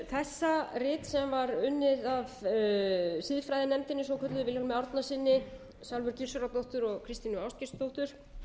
lestur þessa rits sem var unnið af siðfræðinefndinni svokölluðu vilhjálmi árnasyni salvöru gissurardóttur og kristínu ástgeirsdóttur